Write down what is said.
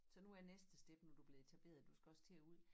Så nu er næste step nu du blevet etableret du skal også til at ud